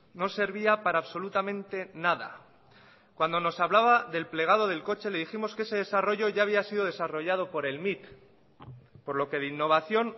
no servía para absolutamente nada cuando nos hablaba del plegado del coche le dijimos que ese desarrollo ya había sido desarrollado por el mit por lo que de innovación